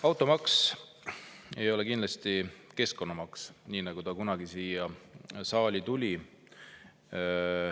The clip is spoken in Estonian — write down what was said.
Automaks ei ole kindlasti keskkonnamaks, nii nagu ta kunagi siia saali tuli.